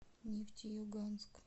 нефтеюганск